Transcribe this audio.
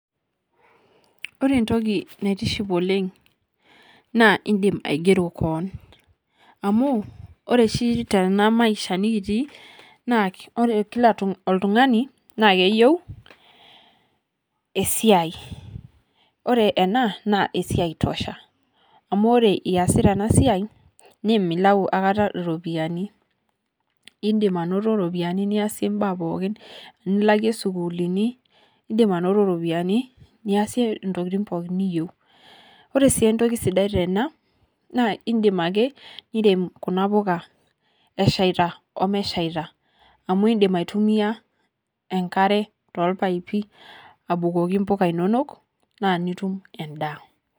Ore entoki naitiship oleng, naa idim aigero keon. Amu, ore oshi tenamaisha nikitii, naa ore kila oltung'ani, na keyieu, esiai. Ore ena, naa esiai tosha. Amu ore iyasita enasiai, nimilau akata iropiyiani. Idim anoto ropiyaiani niasie mbaa pookin, nilakie sukuulini, idim anoto ropiyaiani, niasie intokiting pookin niyieu. Ore si entoki sidai tena, naa idim ake, nirem kuna puka eshaita omeshaita. Amu idim aitumia enkare tolpaipi, abukoki mpuka inonok, na nitum endaa.